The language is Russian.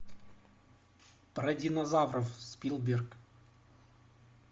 про динозавров спилберг